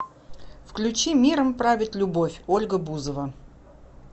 включи миром правит любовь ольга бузова